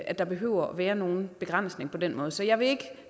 at der behøver at være nogen begrænsning på den måde så jeg vil ikke